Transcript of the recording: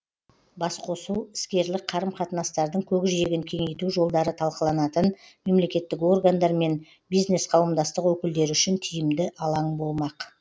басқосу іскерлік қарым қатынастардың көкжиегін кеңейту жолдары талқыланатын мемлекеттік органдар мен бизнес қауымдастық өкілдері үшін тиімді алаң болмақ